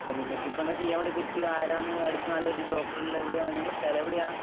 ഇപ്പൊ നിങ്ങക്കിപ്പോ എന്താ ചെയ്യാൻ പറ്റുക? ആരാണ് അടുത്തിപ്പോ നല്ല ഡോക്ടറുള്ളെ, എവിടെയാ, നിങ്ങടെ സ്ഥലം എവിടെയാ?